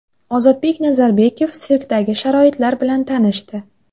Ozodbek Nazarbekov sirkdagi sharoitlar bilan tanishdi.